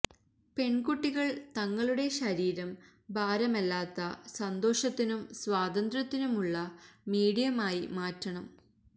പെണ്കുട്ടികള് തങ്ങളുടെ ശരീരം ഭാരമല്ലാത്ത സന്തോഷത്തിനും സ്വതന്ത്ര്യത്തിനുമുള്ള മീഡിയം ആയി മാറ്റണം